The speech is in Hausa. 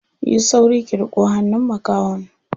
Yi sauri ki riƙo hannun makahon.